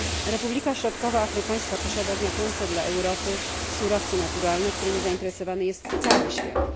Republika Środkowoafrykańska posiada znaczące dla Europy surowce naturalne, którymi zainteresowany jest cały świat.